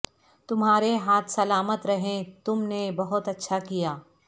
تمہارے ہاتھ سلامت رہیں تم نے بہت اچھا کیا